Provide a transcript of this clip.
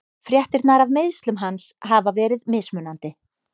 Fréttirnar af meiðslum hans hafa verið mismunandi.